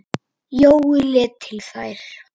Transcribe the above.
Jói leit til þeirra.